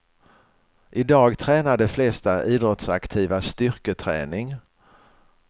I dag tränar de flesta idrottsaktiva styrketräning.